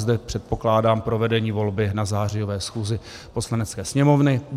Zde předpokládám provedení volby na zářiové schůzy Poslanecké sněmovny.